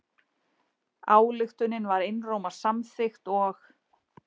Ályktunin var einróma samþykkt og